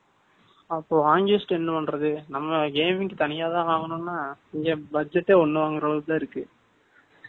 அப்போ, angest என்ன பண்றது? நம்ம தனியாதான் வாங்கணும்ன்னா, இங்க budget ஏ ஒண்ணு வாங்குற அளவுக்குத்தான் இருக்கு